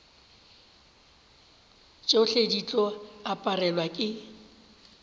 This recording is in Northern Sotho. tšohle di tlo aparelwa ke